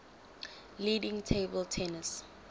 leading table tennis